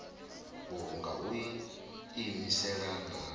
uhu nga u iimisela na